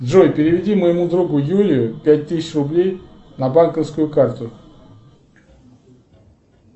джой переведи моему другу юле пять тысяч рублей на банковскую карту